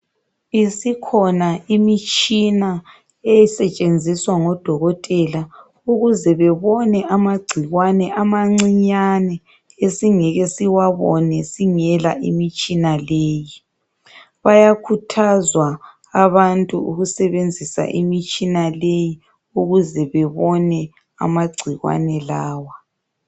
Isikhona imitshina esetshenziswa ngodokotela ukuze bebone amagcikwane amancinyane esingeke siwabone singela imitshina leyi. bayakhuthazwa abantu ukusebenzisa imitshina leyi ukuze bebone amagcikwane lawa.